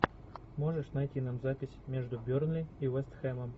можешь найти нам запись между бернли и вест хэмом